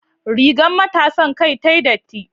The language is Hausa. Rigar matasan kai tayi datti